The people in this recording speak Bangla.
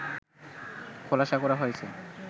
খোলাসা করা হয়েছে